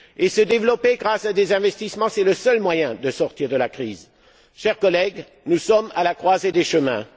Se développer grâce à des investissements, c'est le seul moyen de sortir de la crise. Chers collègues, nous sommes à la croisée des chemins.